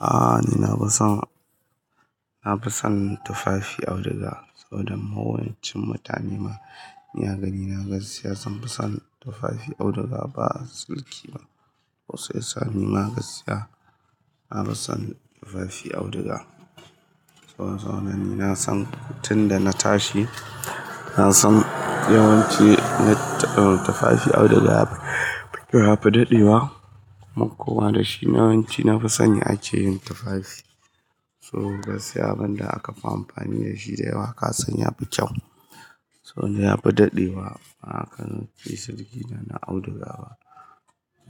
Aaa ni na fi son, na fi son tufafi auduga saboda mahowancin mutane ma ina gani na gaskiya zan fi son tufafi auduga ba sirki ba. Kosai sa ni ma gaskiya na fi son tufafi auduga. Sauro sauro ni na san tun da na tashi na san yawanci na tufafi auduga yafi, yafi daɗewa kuma da shi yawanci na fi son ake yin tufafi. So gaskiya abin da aka fi amfani da shi da yawa ka san ya fi kyau. Sauro yafi daɗewa aka yi sirki na auduga ba.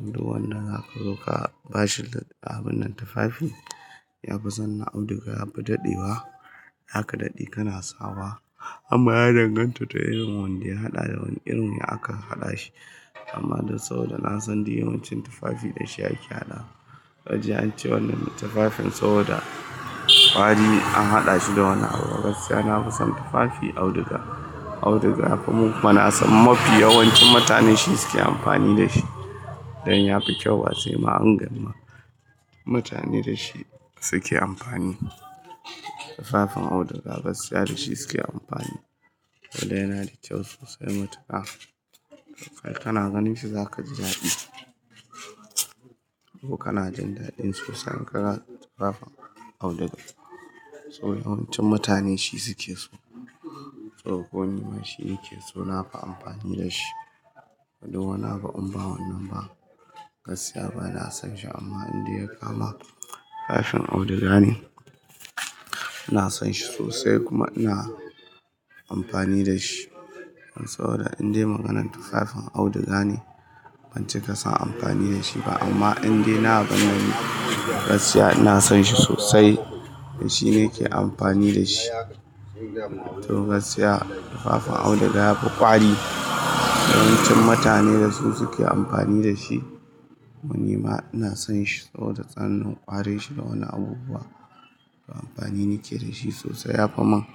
Indai wannan haka zo ka bashi abun nan tufafi, ya fi son na auduga yafi daɗewa haka daɗi kana sawa amma ya danganta da irin wanda ya haɗa da wane irin yadda aka haɗa shi. Amma dai sau da na san dai yawancin tufafi da shi ake haɗa. Wajen an ce wannan tufafin sau da kwari an haɗa shi da wani abu gaskiya na fi son tufafi auduga. Auduga yafi mu kuma na san mafi yawancin mutane shi suke amfani da shi. Dan ya fi kyau ba sai ma an gan ma mutane da shi suke amfani. Tufafin auduga gaskiya da shi suke amfani. Saboda yana da kyau sosai matuka. Kana ganin shi zaka ji dadi kana jin dadin saka tufafin auduga. Sauro yawancin mutane shi suke so. Sauro ko ni ma shi yake so na fi amfani da shi. Indai wani abu in ba wannan ba gaskiya bana son shi amma indai ya kama tufafin auduga ne, ina son shi sosai kuma ina amfani dashi. Saboda indai maganan tufafin auduga ne ban ce ka san amfani da shi ba amma indai na gani gaskiya ina son shi sosai. Shi ne ke amfani da shi. To gaskiya tufafin auduga yafi kwari, yawancin mutane dasu suke amfani dashi. Ku nima ina son shi saboda tsanan kwarin shi da wani abubuwa. Amfani nike da shi sosai yafi man.